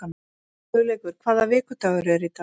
Hugleikur, hvaða vikudagur er í dag?